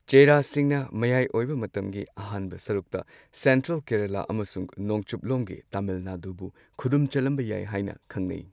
ꯆꯦꯔꯥꯁꯤꯡꯅ ꯃꯌꯥꯏ ꯑꯣꯏꯕ ꯃꯇꯝꯒꯤ ꯑꯍꯥꯟꯕ ꯁꯔꯨꯛꯇ ꯁꯦꯟꯇ꯭ꯔꯦꯜ ꯀꯦꯔꯂ ꯑꯃꯁꯨꯡ ꯅꯣꯡꯆꯨꯞ ꯂꯣꯝꯒꯤ ꯇꯥꯃꯤꯜ ꯅꯥꯗꯨꯕꯨ ꯈꯨꯗꯨꯝ ꯆꯟꯂꯝꯕ ꯌꯥꯏ ꯍꯥꯏꯅ ꯈꯪꯅꯩ꯫